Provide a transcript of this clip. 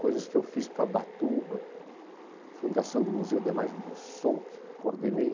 Coisas que eu fiz para Ubatuba, a fundação do Museu de Imagens do Som, que eu coordenei.